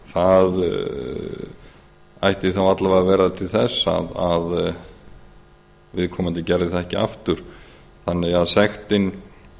það ætti þá alla vega að verða til þess að viðkomandi gerði það ekki aftur þannig að sektin